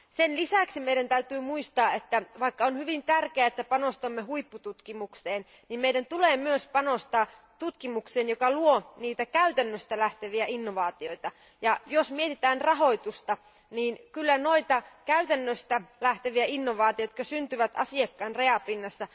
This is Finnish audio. Sen lisäksi meidän täytyy muistaa, että vaikka on hyvin tärkeää, että panostamme huippututkimukseen, niin meidän tulee myös panostaa sellaiseen tutkimukseen, joka luo käytännöstä lähteviä innovaatioita. Jos mietimme rahoitusta, niin voimme tukea käytännöstä lähteviä innovaatioita, jotka syntyvät asiakkaan rajapinnassa,